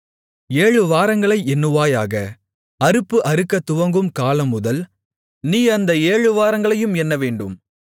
ஏழு வாரங்களை எண்ணுவாயாக அறுப்பு அறுக்கத் துவங்கும் காலமுதல் நீ அந்த ஏழு வாரங்களையும் எண்ணவேண்டும்